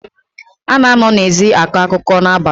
A na-anọ n’ezi akọ akụkọ n’abalị